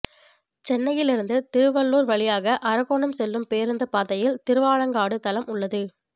சென்னையிலிருந்து திருவள்ளூர் வழியாக அரக்கோணம் செல்லும் பேருந்துப் பாதையில் திருவாலங்காடு தலம் உள்ளது